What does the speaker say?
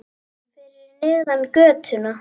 Fyrir neðan götuna.